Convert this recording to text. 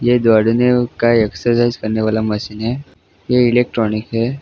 यह दौड़ने का एक्सरसाइज करने वाला मशीन है यह इलेक्ट्रॉनिक है।